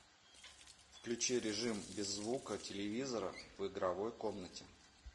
включи режим без звука телевизора в игровой комнате